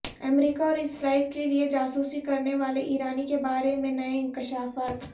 امریکہ اور اسرائیل کیلئے جاسوسی کرنے والے ایرانی کے بارے میں نئے انکشافات